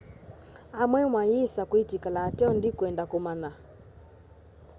amwe mayĩsa kwĩtĩkĩla ateo ndĩkwenda kũmanya